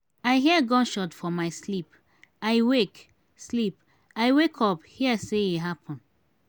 i hear gunshot for my sleep i wake sleep i wake up hear say e happen.